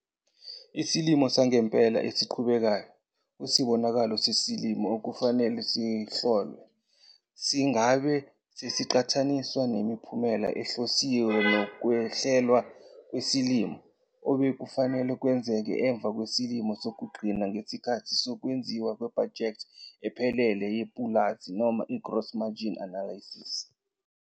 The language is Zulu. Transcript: Isimo sangempela esiqhubekayo kusibonakalo sesilimo okufanele sihlolwe singabe sesiqhathaniswa nomphumela ohlosiwe nokuhlelwa kwesilimo obekufanele kwenzeke emva kwesilimo sokugcina ngesikhathi sokwenziwa kwebhajethi ephelele yepulazi noma i-gross margin analysis.